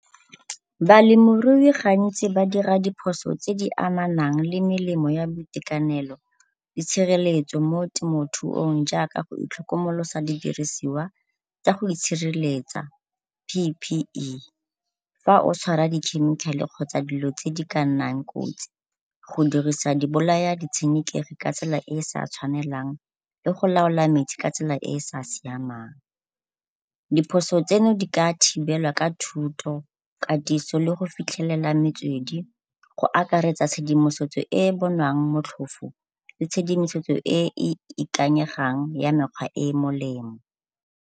Balemirui gantsi ba dira diphoso tse amanang le melemo ya boitekanelo le tshireletso mo temthuong jaaka go itlhokomolosa didirisiwa tsa go itshireletsa P_P_E fa o tshwara di-chemical-e kgotsa dilo tse di ka nnang kotsi go dirisa dibolaya ditshenekegi ka tsela e e sa tshwanelang le go laola matsi ka tsela e e sa siamang. Diphoso tseno di ka thibelwa ka thuto, katiso le go fitlhelela metswedi go akaretsa tshedimosetso e e bonwang motlhofo le tshedimosetso e e ikanyegang ya mekgwa e e melemo.